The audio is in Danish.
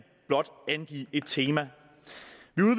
blot angive et tema